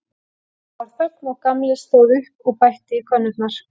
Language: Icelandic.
Það varð þögn og Gamli stóð upp og bætti í könnurnar.